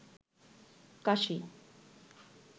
কাশি